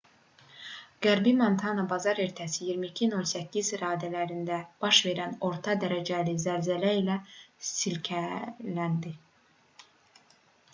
qərbi montana bazar ertəsi 22:08 radələrində baş verən orta dərəcəli zəlzələ ilə silkələndi